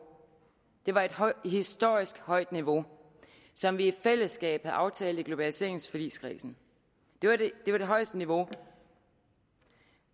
det var et historisk højt niveau som vi i fællesskab havde aftalt i globaliseringsforligskredsen det var det højeste niveau